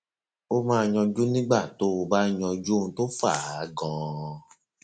ó máa yanjú nígbà tó o bá yanjú ohun tó fà á ganan